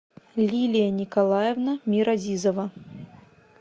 лилия николаевна миразизова